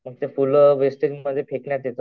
मग ते full wastage मध्ये फेकण्यात येतात.